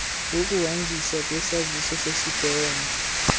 wokuhanjiswa kwesaziso sesibheno